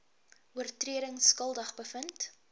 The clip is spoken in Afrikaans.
oortredings skuldig bevind